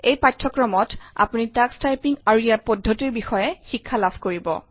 এই পাঠ্যক্ৰমত আপুনি টাক্স টাইপিং আৰু ইয়াৰ পদ্ধতিৰ বিষয়ে শিক্ষা লাভ কৰিব